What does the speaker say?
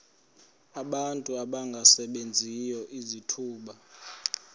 abantu abangasebenziyo izithuba